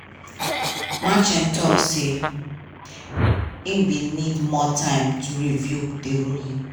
merchan tok say e bin need more time to review di ruling.